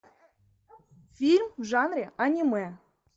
фильм в жанре аниме